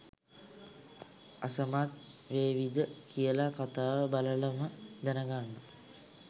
අසමත් වේවිද කියලා කතාව බලලම දැනගන්න.